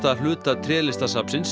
hluta